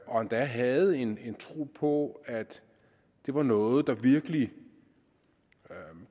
og endda havde en tro på at det var noget der virkelig